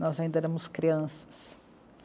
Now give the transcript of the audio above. Nós ainda éramos crianças.